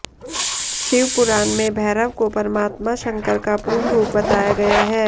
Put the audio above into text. शिवपुराण में भैरव को परमात्मा शंकर का पूर्ण रूप बताया गया है